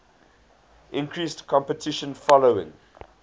increased competition following